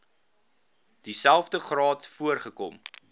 dieselfde graad voorgekom